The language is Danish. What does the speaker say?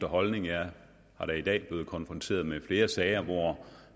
holdning jeg er da i dag blevet konfronteret med flere sager hvor